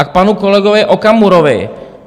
A k panu kolegovi Okamurovi.